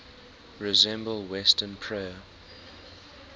resemble western prayer